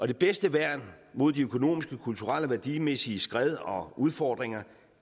det bedste værn mod de økonomiske og kulturelle og værdimæssige skred og udfordringer